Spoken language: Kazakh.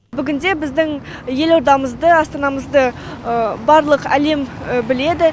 бүгінде біздің елордамызды астанамызды барлық әлем біледі